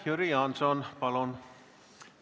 Jüri Jaanson, palun!